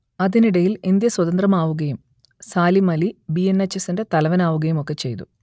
അതിനിടയിൽ ഇന്ത്യ സ്വതന്ത്രമാവുകയും Salim Ali B N H എസ്സിന്റെ തലവനാവുകയും ഒക്കെ ചെയ്തു